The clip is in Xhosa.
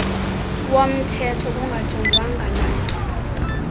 womthetho kungajongwanga nanto